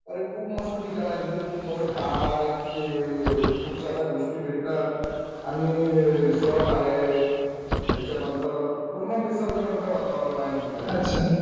अरे खूप मस्त ठिकाण आहे किती खूप मोठे पहाड आहेत तिथे खूप साऱ्या गोष्टी भेटतात आणि रिसॉर्ट आहेत त्याच्यानंतर पूर्ण निसर्गरम्य वातावरण आहे तिथलं